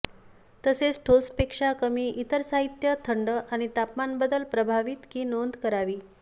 तसेच ठोस पेक्षा कमी इतर साहित्य थंड आणि तापमान बदल प्रभावित की नोंद करावी